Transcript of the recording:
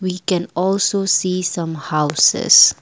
we can also see some houses.